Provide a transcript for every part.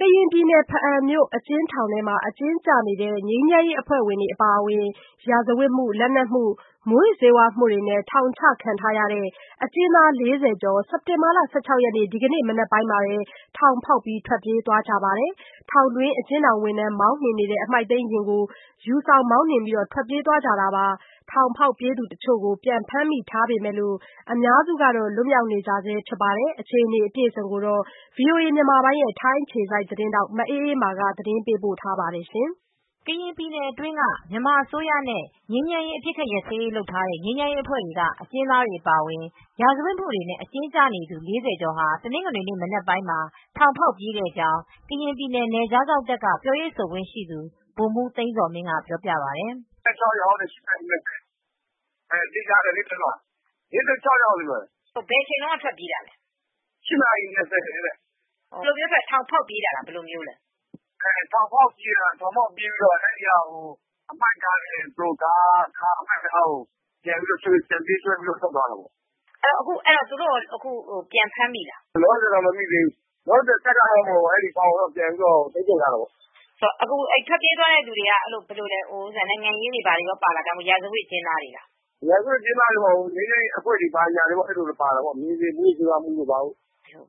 ကရင်ပြည်နယ်၊ ဘားအံမြို့အကျဉ်းထောင်ထဲ အကျဉ်းကျနေတဲ့ ငြိမ်းချမ်းရေးအဖွဲ့ဝင်တွေ အပါအဝင် ရာဇဝတ်မူ ၊ လက်နက်မှု မူယစ်ဆေးဝါးမှုတွေနဲ့ ထောင်ချခံထားရတဲ့ အကျဉ်းသား ၄၀ကျော် စက်တင်ဘာ ၁၆ရက်နေ့ ဒီကနေ့မနက်ပိုင်းမှာပဲ ထောင်ဖောက်ထွက်ပြေးသွားကြပါတယ်။ ထောင်တွင်း အကျဉ်းထောင် ဝန်ထမ်းမောင်းနှင်နေတဲ့ အမှှိုက်သိမ်းယာဉ်ကို ယူဆောင်မောင်းနှင်ပြီး ထွက်ပြေးသွားကြတာပါ။ ထောင်ဖောက်ပြေးသူတချို့ကို ပြန်ဖမ်းမိထားပေမဲ့ အများစုကတော့ လွတ်မြောက်နေဆဲဖြစ်ပါတယ်။ အခြေအနေ အပြည့်အစုံကိုတော့ ဗွီအိုအေမြန်မာပိုင်း ထိုင်းအခြေစိုက် သတင်းထောက် မအေးအေးမာက သတင်းပေးပို့ထားပါတယ်။ ကရင်ပြည်နယ်အတွင်းက မြန်မာအစိုးရနဲ့ ငြိမ်းချမ်းရေး အပစ်အခတ်ရပ်စဲရေးလုပ်ထားတဲ့ ငြိမ်းချမ်းရေးအဖွဲ့တွေက အကျဉ်းသားတွေအပါအဝင် ရာဇဝတ်မူတွေနဲ့ အကျဉ်းကျနေသူ ၄၀ကျော်ဟာ တနင်္ဂနွေနေ့ မနက်ပိုင်းမှာ ထောင်ဖောက်ပြေးခဲ့ကြောင်းကရင်ပြည်နယ် နယ်ခြားစောင့်တပ်က ပြောရေးဆိုခွင့်ရှိသူ ဗိုလ်မူးသိန်းဇော်မင်းကပြောပြပါတယ်။ ၄၆ ယောက်တဲ့သေချာတယ် ၄၆ယောက်လို့ပြောတယ်။ ဘယ်အချိန်ထွက်ပြေးတာလဲ ၈နာရီ ၂၀ နဲ့ ၄၀အတွင်းမှာ။ ဘယ်လိုမျိုးပြေးတာလဲ ထောင်ဖောက်ပြေးတာလား ထောင်ဖောက်ပြေးတာအဲဒီက ပြီးတော့အမှိုက်ကားကို ပြန်ပေးဆွဲပြီးထွက်သွားတယ် သူတို့ကို အခုကော ပြန်ဖမ်းမိပြီလား။ အခုထိတော့ မဖမ်းမိသေးဘူး အခုတော့ တပ်က အဲဒီထောင်ကို ထိန်းချုပ်ထားတယ် ထွက်ပြေးတဲ့အထဲမှာနိုင်ငံရေး အမူတွေကောပါလား။ ရာဇဝတ်အကျဉ်းသားတွေပဲလား ရာဇဝတ်အကျဉ်းသားပဲမဟုတ်ဘူး ငြိမ်းချမ်းရေးအဖွဲ့ တွေဘာတွေပါတယ်။ မူးယစ်ဆေးဝါးမူ ၊ လက်နက်မူတွေ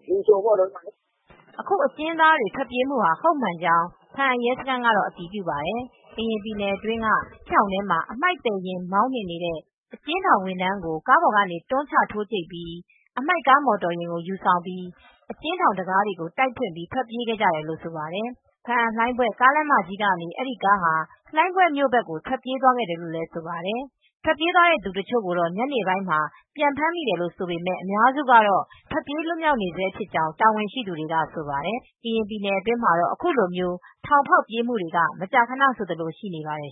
လည်းပါတယ် လူစုံပဲပေါ့။ အခုအကျဉ်းသားတွေထွက်ပြေးမူတာ ဟုတ်မှန်ကြောင်း ဘားအံရဲစခန်းကအတည်ပြုပါတယ်။ ကရင်ပြည်နယ်အတွင်းက ထောင်ထဲကအမှိုက်သယ်ယာဉ်မောင်းနှင်တဲ့ အကျဉ်းထောင်ဝန်ထမ်းကို ကားပေါ်ကနေ တွန်းချထိုးကြိတ်ပြီး အမှိုက်ကားမော်တော်ယာဉ်ကို ယူဆောင်ပြီး ၊ အကျဉ်းထောင်တံခါးတွေကို တိုက်ဖွင့် ထွက်ပြေးခဲ့ကြလို့ဆိုပါတယ်။ ဘားအံ-လှိုင်းဘွဲ ကားလမ်းမကြီးကနေ အဲဒီကားဟာ လှိုင်းဘွဲ့မြို့ဘက်ကို ထွက်ပြေးသွားခဲ့တယ်ဆိုပါတယ်။ ထွက်ပြေးသွားတဲ့သူတချိုကိုတော့ ညနေပိုင်းမှာ ပြန်ဖမ်းမိတယ်လို့ ဆိုပေမဲ့အများစုကတော့ထွက်ပြေးလွတ်မြောက် နေဆဲဖြစ်ကြောင်း ဘာအံမြို့က တာဝန်ရှိသူတွေကဆိုပါတယ်။ ကရင်ပြည်နယ်ထဲမှာတော့အခုလို မျိုးထောင်ဖောက်ပြေးမူတွေက မကြာခနဆိုသလို ရှိနေပါတယ်